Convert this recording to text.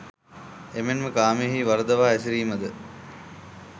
එමෙන්ම කාමයෙහි වරදවා හැසිරීම ද